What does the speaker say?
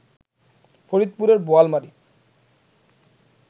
ফরিদপুরের বোয়ালমারী